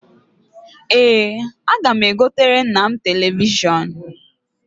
Ee, aga m egotere nna m telivishọn.